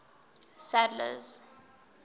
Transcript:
sadler's